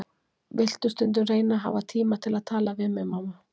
Viltu stundum reyna að hafa tíma til að tala við mig, mamma.